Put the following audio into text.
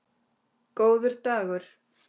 Góður dagur